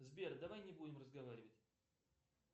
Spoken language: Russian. сбер давай не будем разговаривать